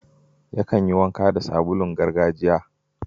Yakan yi wanka da sabulun gargajiya.